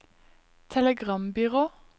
telegrambyrå